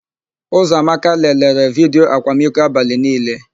Ụzọamaka lelere vidiyo akwamiko abalị niile.